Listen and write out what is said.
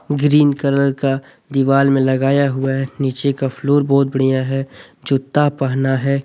Green colour का दीवार में लगाया हुआ है नीचे का फ्लोर बहुत बढ़िया है जूता पहना है।